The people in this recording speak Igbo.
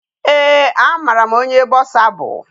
Ee a mara m onye Bọsa bụ.